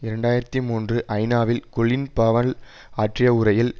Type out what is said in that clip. இரண்டு ஆயிரத்தி மூன்று ஐநாவில் கொலின் பவல் ஆற்றிய உரையில்